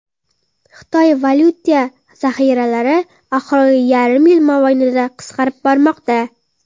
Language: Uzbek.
Xitoy valyuta zaxiralari oxirgi yarim yil mobaynida qisqarib bormoqda.